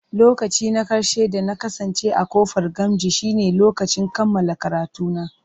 Lokaci na ƙarshe da na kasance a ƙofar Gamji shine lokacin kammala karatuna.